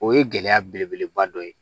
O ye gɛlɛya belebeleba dɔ ye